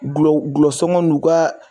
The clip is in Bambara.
Gulɔ gulɔ sɔngɔ n'u ka